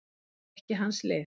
Það er ekki hans lið.